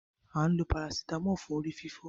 A ǹ lo Paracetamol fún orí-fífọ